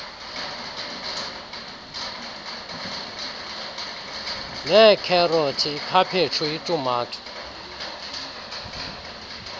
neekherothi ikhaphetshu itumato